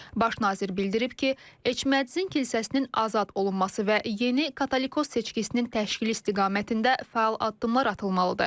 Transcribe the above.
Baş nazir bildirib ki, Eçmədzinin kilsəsinin azad olunması və yeni Katolikos seçkisinin təşkili istiqamətində fəal addımlar atılmalıdır.